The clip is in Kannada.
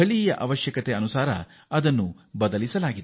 ಈ ಆಂದೋಲನ ಸ್ಥಳೀಯ ಅಗತ್ಯಕ್ಕೆ ತಕ್ಕಂತೆ ರೂಪುಗೊಳ್ಳುತ್ತಿದೆ